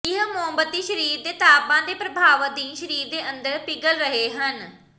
ਇਹ ਮੋਮਬੱਤੀ ਸਰੀਰ ਦੇ ਤਾਪਮਾਨ ਦੇ ਪ੍ਰਭਾਵ ਅਧੀਨ ਸਰੀਰ ਦੇ ਅੰਦਰ ਪਿਘਲ ਰਹੇ ਹਨ